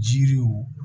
Jiriw